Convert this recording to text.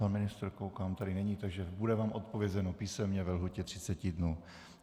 Pan ministr, koukám, tady není, takže bude vám odpovězeno písemně ve lhůtě 30 dnů.